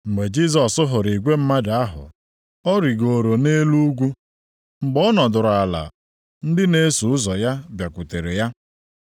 Mgbe Jisọs hụrụ igwe mmadụ ahụ, ọ rigooro nʼelu ugwu. Mgbe ọ nọdụrụ ala, ndị na-eso ụzọ ya bịakwutere ya,